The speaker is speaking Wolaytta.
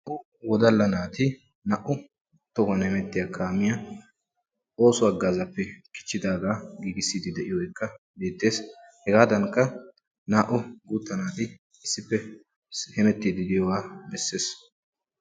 Wodalla naati na"u tohuwan hemettiya kaamiya ooso hagazappe kichidaaga giigisside diyooge beettes. Hegadankka naa"u guutta naati hemetidi diyogaa beettes